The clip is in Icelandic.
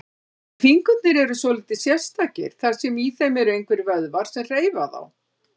En fingurnir eru svolítið sérstakir, þar sem í þeim eru engir vöðvar sem hreyfa þá.